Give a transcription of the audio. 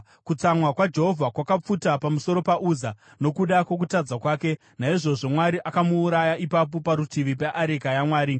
Kutsamwa kwaJehovha kwakapfuta pamusoro paUza nokuda kwokutadza kwake; naizvozvo Mwari akamuuraya ipapo parutivi peareka yaMwari.